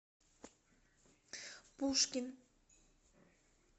пушкин